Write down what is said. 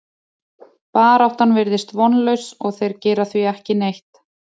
Baráttan virðist vonlaus og þeir gera því ekki neitt.